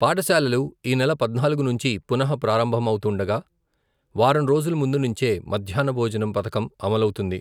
పాఠశాలలు, ఈ నెల పధ్నాల్గు నుంచి పునః ప్రారంభమౌతుండగా, వారం రోజుల ముందు నుంచే మధ్యహ్న భోజన పధకం అమలౌతుంది.